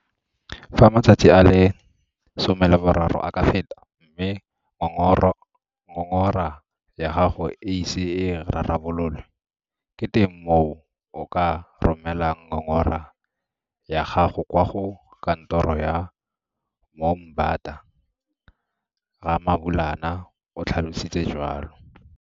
Fa matsatsi a le 30 a ka feta mme ngongoro ngongora ya gago e ise e rarabololwe, ke teng mo o ka romelang ngongora ya gago kwa go Kantoro ya Moombata, Ramabulana o tlhalositse jwalo.